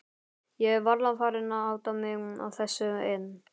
Ég er varla farin að átta mig á þessu enn.